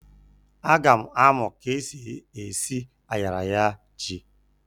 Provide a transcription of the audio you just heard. A ga m amu k'esi esi ayaraya ji.